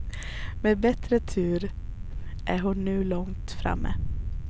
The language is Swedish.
Med bättre tur är hon nu långt framme.